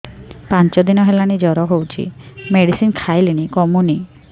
ପାଞ୍ଚ ଦିନ ହେଲାଣି ଜର ହଉଚି ମେଡିସିନ ଖାଇଲିଣି କମୁନି